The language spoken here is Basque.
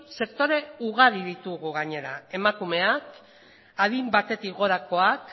sektore ugari ditugu gainera emakumeak adin batetik gorakoak